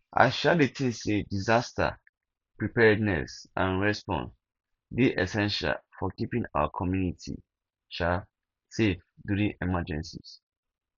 i um dey think say disaster preparedness and response dey essential for keeping our community um safe during emergencies